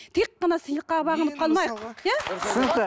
тек қана сыйлыққа бағынып қалмайық